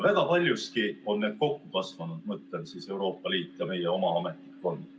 Väga paljuski on need kokku kasvanud, ma mõtlen Euroopa Liitu ja meie oma ametnikkonda.